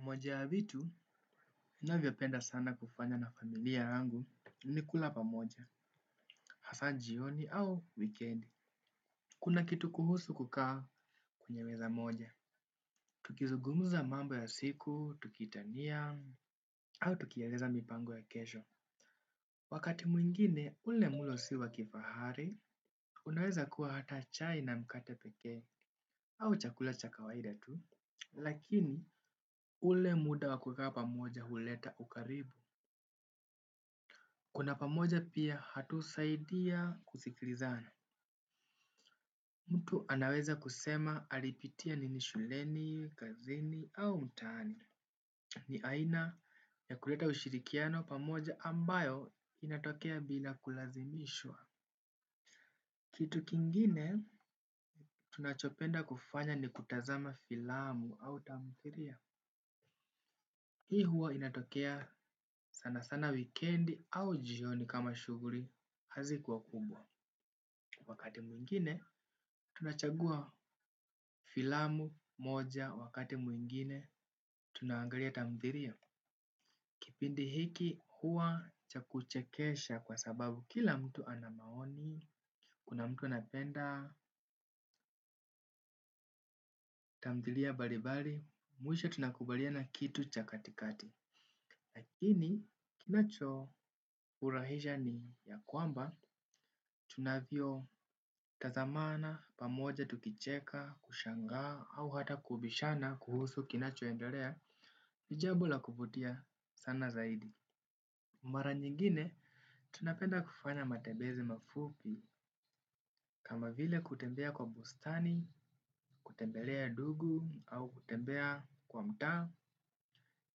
Moja ya vitu, naviapenda sana kufanya na familia yangu ni kula pamoja, hasanjioni au weekend. Kuna kitu kuhusu kukaa kunye meza moja. Tukizugumuza mambo ya siku, tukitania, au tukiaweza mipango ya kesho. Wakati mwingine, ule mulo s iwa kifahari, unaweza kuwa hata chai na mkate peke, au chakula cha kawaida tu. Lakini, ule muda wakukaa pamoja huleta ukaribu. Kula pamoja pia hatusaidia kusikilizana. Mtu anaweza kusema alipitia nini shuleni, kazini au mtaani. Ni aina ya kuleta ushirikiano pamoja ambayo inatokea bila kulazimishwa. Kitu kingine tunachopenda kufanya ni kutazama filamu au tamthiria. Hii huwa inatokea sana sana weekendi au jioni kama shuguri hazikuwa kubwa. Wakati mwingine, tunachagua filamu moja, wakati mwingine, tunangalia tamthiria. Kipindi hiki hua cha kuchekesha kwa sababu kila mtu anamaoni, kuna mtu anapenda, tamdhiria balibari, muisha tunakubalia na kitu cha katikati. Lakini kinacho furahija ni ya kwamba tunavio tazamana, pamoja tukicheka, kushanga, au hata kubishana kuhusu kinacho endelea, ni jabo la kuvutia sana zaidi. Mara nyingine, tunapenda kufanya matembezi mafupi kama vile kutembea kwa bustani, kutembelea dugu au kutembea kwa mtaa,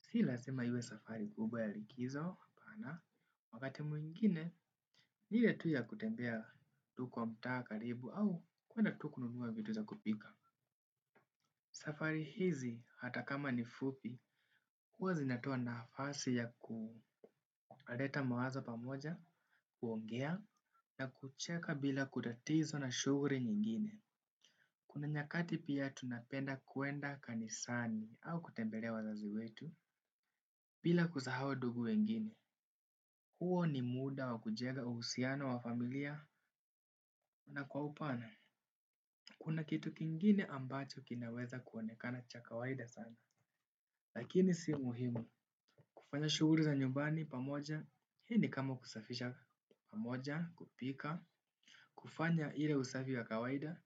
silasima iwe safari guba ya likizo, wakati mwingine, nile tuya kutembea tu kwa mta, karibu au kuenda tu kununua vitu za kupika. Safari hizi hata kama nifupi, kuwa zinatua na hafasi ya kuareta mawazo pamoja, kuongea, na kucheka bila kutatiza na shuguri nyingine. Kuna nyakati pia tunapenda kuenda kanisani au kutembelea wazazi wetu, bila kuzahau dugu wengine. Huo ni muda wa kujega uhusiana wa familia, na kwa upana, kuna kitu kingine ambacho kinaweza kuonekana cha kawaida sana. Lakini si muhimu kufanya shuguri za nyumbani pamoja hi ni kama kusafisha pamoja kupika kufanya ile usafi wa kawaida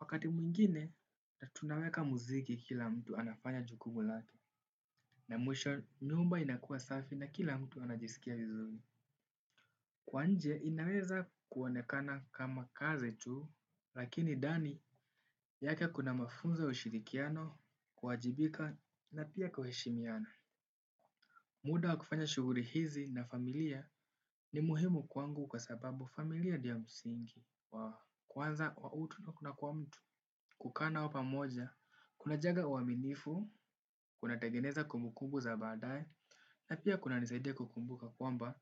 wakati mwingine na tunaweka muziki kila mtu anafanya jukumulake na mwisho nyumba inakua safi na kila mtu anajisikia vizuri. Kwa nje inaweza kuonekana kama kaze tu lakini ndani yake kuna mafunzo ya ushirikiano kuhajibika na pia kuheshimiana. Muda wa kufanya shuguri hizi na familia ni muhimu kwangu kwa sababu familia dio ya msingi. Kwanza wa utu na kuna kwa mtu kukanao pamoja, kuna jaga uaminifu, kuna tagineza kumbu kumbu za badai, na pia kuna nisaidia kukumbuka kwamba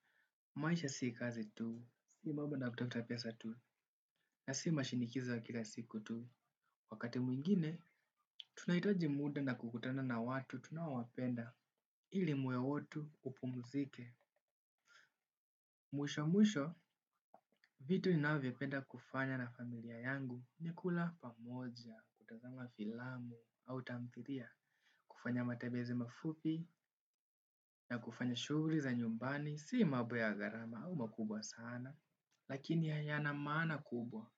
maisha sii kazi tu, sii mambo na kutapesa tu, na sii mashinikiza wa kila siku tu. Wakati mwingine, tunaitaji muda na kukutana na watu tunawapenda ili moyo watu upumuzike. Mwisho mwisho, vitu inavyopenda kufanya na familia yangu ni kula pamoja, kutazama filamu, au tamtiria, kufanya matebezi mafupi, na kufanya shuguri za nyumbani, si mabo ya garama au makubwa sana, lakini hayana maana kubwa.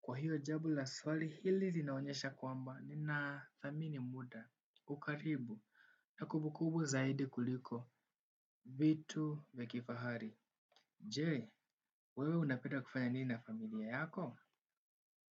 Kwa hiyo jabo la swali hili zinaonyesha kwamba ni na thamini muda. Ukaribu na kubukubu zaidi kuliko vitu vya kifahari. Jee, wewe unapeda kufanya nina familia yako?